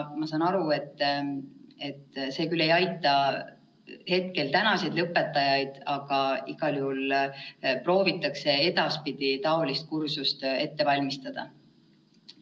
Ma saan aru, et ehkki see küll ei aita hetkel tänaseid lõpetajaid, proovitakse igal juhul edaspidi taolist kursust ette valmistada.